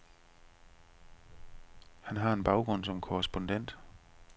Han har en baggrund som korrespondent.